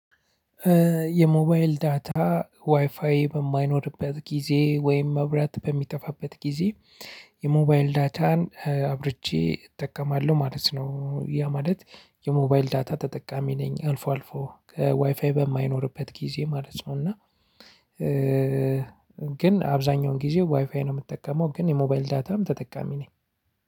የሞባይል ዳታ ዋይፋይ በማይኖርበት ጊዜ ወይም መብራት በሚጠፋበት ጊዜ። የሞባይል ዳታን አብርቼ እጠቀማለሁ ማለት ነው ያ ማለት የሞባይል ዳታ ተጠቃሚ ነኝ። አልፎ አልፎ ከዋይፋይ በማይኖርበት ጊዜ ማለት ነው። እና ግን አብዛኛውን ጊዜ ዋይፋይ ነው የምጠቀመው ግን የሞባይል ዳታም ተጠቃሚ ነኝ።